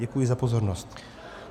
Děkuji za pozornost.